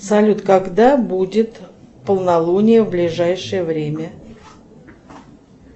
салют когда будет полнолуние в ближайшее время